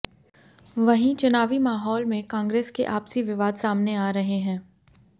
वहीं चुनावी माहौल में कांग्रेस के आपसी विवाद सामने आ रहे हैं